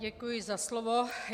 Děkuji za slovo.